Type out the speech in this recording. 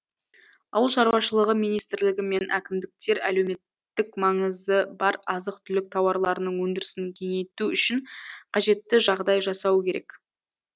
ауыл шаруашылығы министрлігі мен әкімдіктер әлеуметтік маңызы бар азық түлік тауарларының өндірісін кеңейту үшін қажетті жағдай жасауы керек